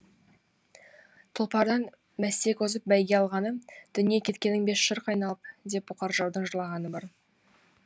тұлпардан мәстек озып бәйге алғаны дүние кеткенің бе шырқ айналып деп бұқар жыраудың жылағаны бар